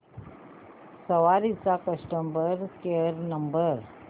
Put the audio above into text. सवारी चा customer care number